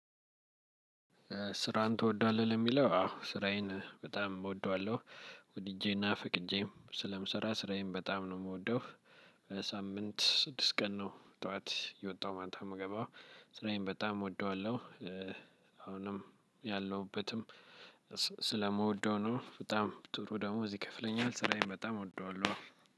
ስራን ትወደዋለህ? የሚለው አዎ ስራዬን በጣም እወደዋለሁ። ወድጄና ፈቅጄም ስለምሰራ ስራዬን በጣም ነው የምወደው ሳምንት ስድስት ቀን ነው ጠዋት የወጣው ማንታም የምገባው ስራዬን በጣም እወደዋለሁ። አሁንም ያለሁበትም ስለምወደው ነው በጣም ጥሩ ደሞዝ ይከፍለኛል ስራዬን በጣም እወደዋለሁ።